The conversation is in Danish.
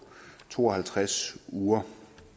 to og halvtreds uger